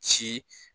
Ci